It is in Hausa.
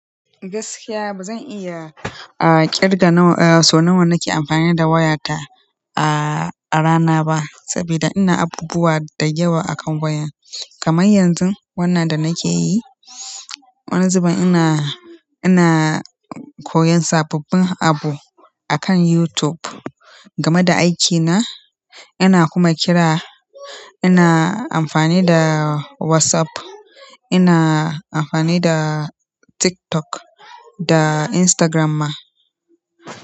Gaskiya ba zan iya, a, ƙirga na wa, so nawa nake amfani da wayata a, a rana ba saboda ina abubuwa da yawa akan waya. Kamar yanzu wannan da nake yi. Wani zuben ina, ina koyan sababbin abu akan YouTube game da aikina. Ina kuma kira, ina amfani da WhatsApp, ina amfani da TikTok da Instagram ma.